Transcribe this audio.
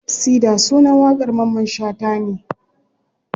Sida sunan waƙar mamman shata ne.